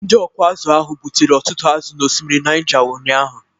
Ndị ọkụ azụ̀ ahụ gbutere ọtụtụ azụ̀ n'osimiri Niger ụnyahụ